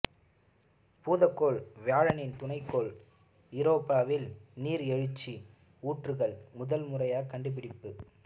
பூதக்கோள் வியாழனின் துணைக்கோள் ஈரோப்பாவில் நீர் எழுச்சி ஊற்றுகள் முதன்முறைக் கண்டுபிடிப்பு